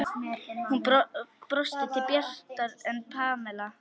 Hún brosti bjartar en Pamela.